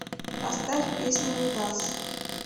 поставь песня мидас